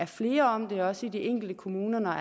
flere om det også i de enkelte kommuner når